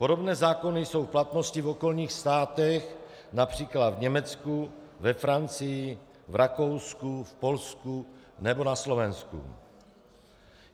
Podobné zákony jsou v platnosti v okolních státech, například v Německu, ve Francii, v Rakousku, v Polsku nebo na Slovensku.